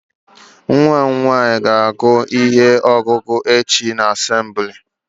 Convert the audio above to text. Nwa mụ nwaanyị ga agụ ihe ọgụgụ echi na assembli